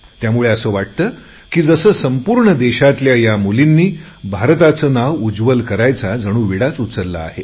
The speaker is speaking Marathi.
त्यामुळे असे वाटते की जसे संपूर्ण देशाच्या या मुलींनी भारताचे नाव उज्ज्वल करायचा जणू विडाच उचलला आहे